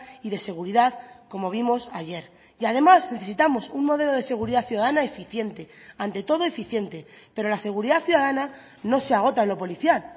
y de seguridad como vimos ayer y además necesitamos un modelo de seguridad ciudadana eficiente ante todo eficiente pero la seguridad ciudadana no se agota en lo policial